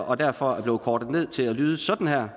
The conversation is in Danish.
og derfor er blevet kortet ned til at lyde sådan her